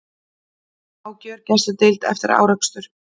Á gjörgæsludeild eftir árekstur